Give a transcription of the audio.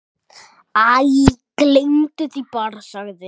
Æ, gleymdu því bara- sagði